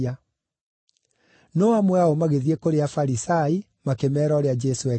No amwe ao magĩthiĩ kũrĩ Afarisai, makĩmeera ũrĩa Jesũ ekĩte.